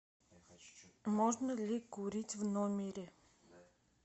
можно ли курить в номере